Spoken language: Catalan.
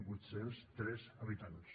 vuit cents i tres habitants